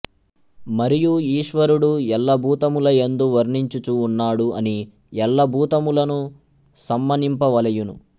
మఱియు ఈశ్వరుఁడు ఎల్లభూతములయందు వర్తించుచు ఉన్నాఁడు అని ఎల్లభూతములను సమ్మానింపవలయును